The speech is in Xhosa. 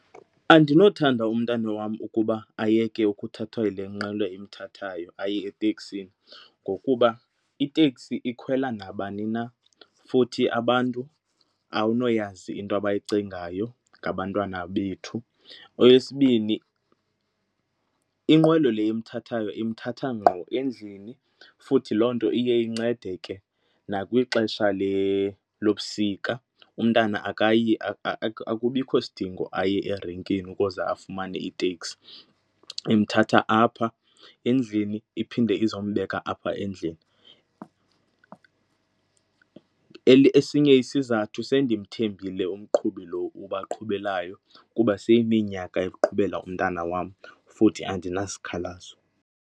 Andinothanda umntana wam ukuba ayeke ukuthathwa yile nqwelo imthathayo aye eteksini ngokuba iteksi ikhwela nabani na futhi abantu awunoyazi into abayicingayo ngabantwana bethu. Okwesibini, inqwelo le imthathayo imthatha ngqo endlini futhi loo nto iye incede ke nakwixesha lobusika, umntana akayi akubikho sidingo aye erenkini ukuze afumane iteksi, imthatha apha endlini iphinde izombeka apha endlini. Esinye isizathu, sendimthembile umqhubi lo ubaqhubelayo kuba seyiminyaka eqhubela umntana wam futhi andinasikhalazo.